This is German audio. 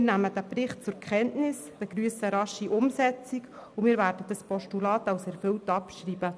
Wir nehmen den Bericht zur Kenntnis, begrüssen eine rasche Umsetzung und werden das Postulat als erfüllt abschreiben.